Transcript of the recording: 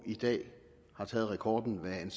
i dag har taget rekorden hvad